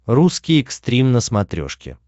русский экстрим на смотрешке